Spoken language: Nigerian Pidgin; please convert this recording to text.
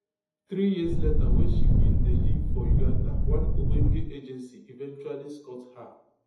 three years later wen she bin dey live for uganda one ogbonge agency eventually scot her